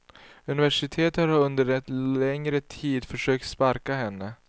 Universitetet har under en längre tid försökt sparka henne.